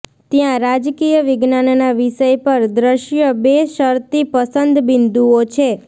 ત્યાં રાજકીય વિજ્ઞાનના વિષય પર દૃશ્ય બે શરતી પસંદ બિંદુઓ છે